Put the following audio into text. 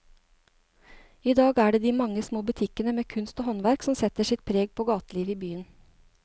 I dag er det de mange små butikkene med kunst og håndverk som setter sitt preg på gatelivet i byen.